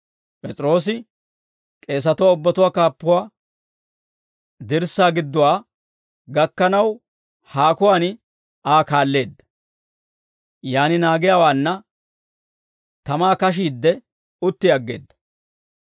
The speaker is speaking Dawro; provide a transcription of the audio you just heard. P'es'iroosi k'eesatuwaa ubbatuwaa kaappuwaa dirssaa gidduwaa gakkanaw haakuwaan Aa kaalleedda; yaan naagiyaawaanna tamaa kashiidde, utti aggeedda.